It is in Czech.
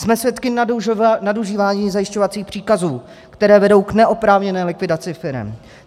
Jsme svědky nadužívání zajišťovacích příkazů, které vedou k neoprávněné likvidaci firem.